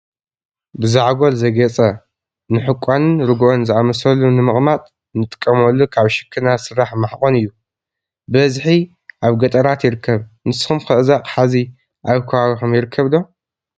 ብዛዕጎል ዘጌፀ ንሕቋንን ርጉኦን ዝኣመሰሉ ንምቅማጥ ንጥቀመሉ ካብ ሽክና ዝስራሕ ማሕቆን እዩ፡፡ ብበዝሒ ኣብገጠራት ይርከብ፡፡ ንስኩምኸ እዚ ኣቅሓ እዚ ኣብ ከባቢኹም ይርከብ ዶ?